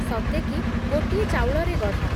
ସତେକି, ଗୋଟିଏ ଚାଉଳରେ ଗଢ଼ା।